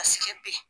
A siga ben